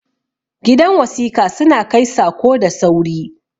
gidan wasika suna Kai Sako da sauri